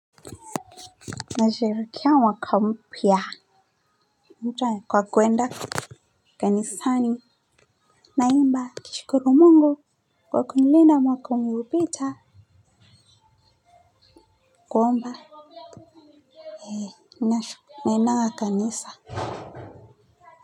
Nasherekea mwaka mpya. Mtuane kwa kwenda kanisani naimba nikishikuru mungu kwa kunilinda mwaka uliopita Kuomba. Naendanga kanisa.